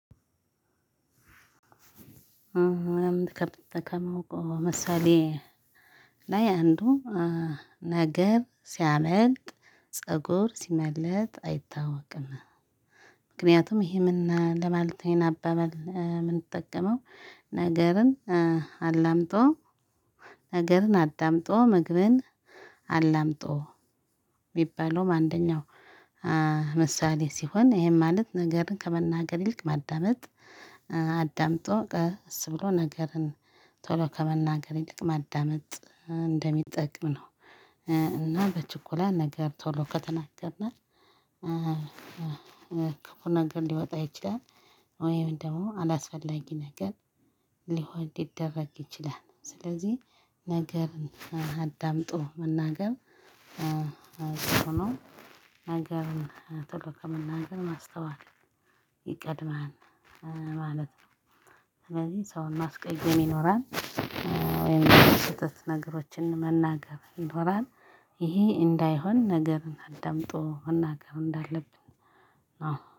ከማወቀው ምሳሌ ላይ አንዱ ነገር ሲያመለጥ ፀጉር ሲመለጥ አይታወቅም። ምክንያቱም ይሄ ምን ለማለት ይኼን አባባል የምንጠቀመው ነገርን አላምጦ ነገርን አዳምጦ ምግብን አላምጦ የሚባለውም አንደኛው ምሳሌ ሲሆን ይሄን ማለት ነገርን ከመናገር ልክ ማዳመጥ አዳምጦ ቀስ ብሎ ነገርን ቶሎ ከመናገሬ ይልቅ ማዳመጥ እንደሚጠቅም ነው። እና በችኮላ ነገር ቶሎ ከተናገርና ኩፍ ነገር ነገር ሊወጣ ይችላል ወይም ደግሞ አላስፈላጊ ነገር ሊሆን ሊደረግ ይችላል። ስለዚህ ነገር አዳምጦ መናገር። ነገርን ቶሎ ከመናገር ማስተዋል ይቀድማል ማለት ነው። ስለዚህ ሰውን ማስቀየም ይኖራል። ወይም ስህተት ነገሮችን መናገር ይኖራል። ይሄ እንዳይሆን ነገርን አዳምጦ መናገር እንዳለብን